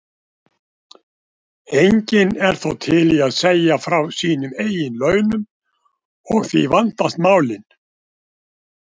Enginn er þó til í að segja frá sínum eigin launum og því vandast málin.